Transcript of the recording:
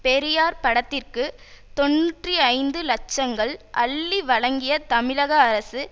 பெரியார் படத்திற்கு தொன்னூற்றி ஐந்து லட்சங்கள் அள்ளி வழங்கிய தமிழக அரசு